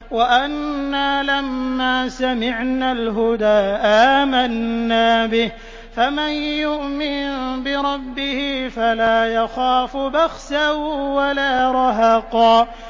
وَأَنَّا لَمَّا سَمِعْنَا الْهُدَىٰ آمَنَّا بِهِ ۖ فَمَن يُؤْمِن بِرَبِّهِ فَلَا يَخَافُ بَخْسًا وَلَا رَهَقًا